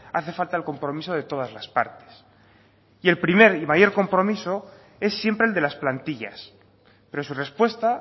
hace falta el compromiso de todas las partes y el primer y mayor compromiso es siempre el de las plantillas pero su respuesta